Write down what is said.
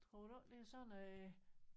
Tror du ikke det er sådan noget